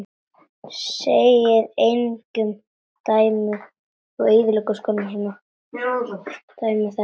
Sagði engin dæmi þess.